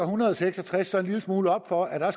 hundrede og seks og tres så en lille smule op for at